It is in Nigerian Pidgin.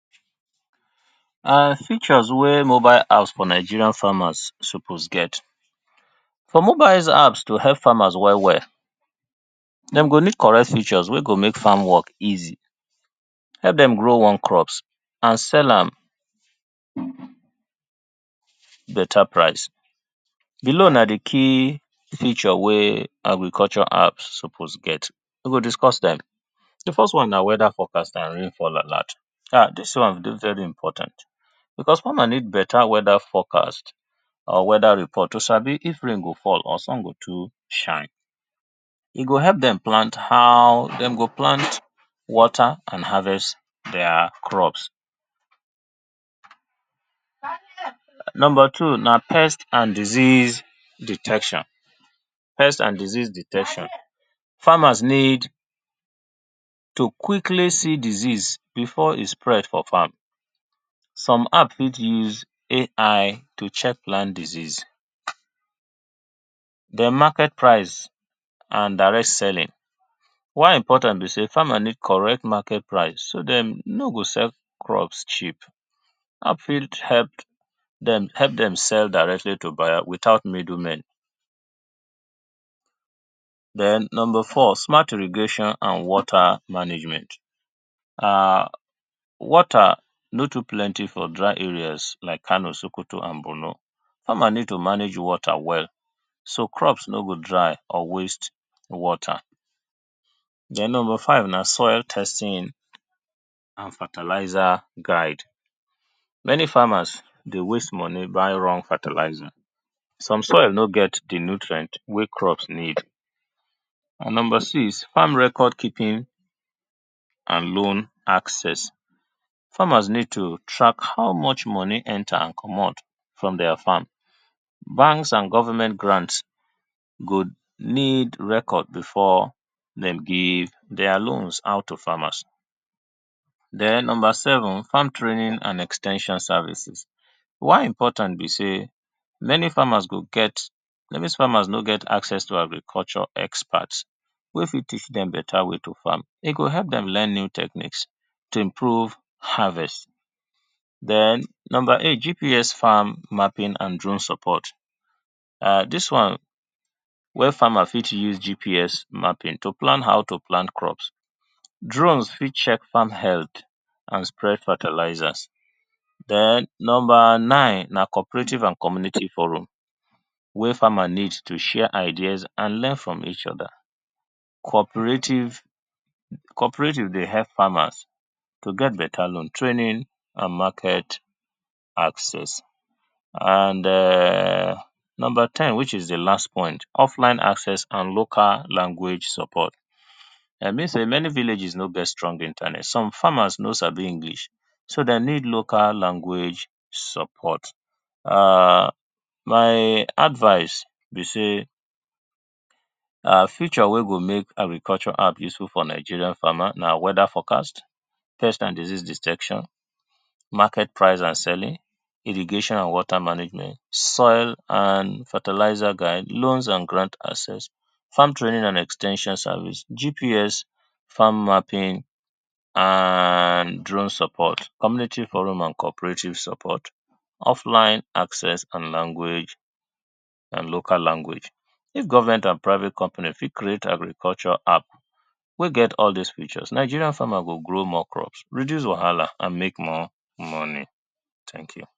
And features wey mobile apps for Nigeria farmers suppose get. For mobile apps to help farmers well well dem go need correct features wey go make farm work easy, help dem grow more crops and sell am better price, below na di key feature wey agriculture app suppose get we go discuss dem, di first one na weather forecast and rainfall alert now dis one dey very important because farmer need better weather forecast to sabi if rain go fall or if sun go to shine. E go help dem plan how dem to plant and water their crops. Number two na pest and disease detection, pest and disease detection, farmers need to quick see disease before e go spread for farm, some farmers fit use AI to check plant disease, dem market price and direct selling why important be sey farmer need correct market price so dem nor go sell crop cheap and fit help dem sell directly to buyer without middle men. Den number four smart irrigation and water management, water no too plenty for dry areas like Kano, Sokoto and Bornu, farmer need to manage water well so crops no go dry or waste water. Den number five na soil testing and fertilizer guide. Many farmers dey waste money buy di wrong fertilizer, some crops no get di nutrient wey di soil need and number six farm record keeping and loan access, farmers need to track how much enter and komot from their account, bank and government grants go need records before dem give their loans out to farmers. Den number seven farm training and ex ten sion services, whey e important be sey many farmers go get, many farmers no get access to agriculture experts wey fit teach dem better way to farm, e go help dem learn new techniques to improve harvest, den number eight keep U,S farming and drone support dis wey farmers fit use GPS mapping to plan how to plant crops, drone fit check farm health and check fertilizers, den number nine na community and cooperative borrow wey farmer need to share idea and learn from each other. Cooperative, cooperative dey help farmers to get better loan, training and market access and number ten which is di last point offline access and local language support, e mean sey many villages nor get strong internet and some farmers no sabi English, den local language support [urn] my advice be say feature wey go make agricultural app useful for Nigeria na weather forecast, pest and disease detection, market price and selling, irrigation and water guide, fertilizer, loans and access, farm training and ex ten sion service, GPS and farm mapping and drone support, community borrowing and loan support, offline acc and language, local language, if government and private company fit create agriculture app wey get all dis features Nigerian farmers go grow more crops, reduce wahala and make more money, thank you.